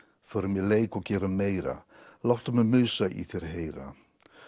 förum í leik og gerum meira láttu mig mig Musa í þér heyra